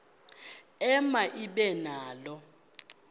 ema ibe nalo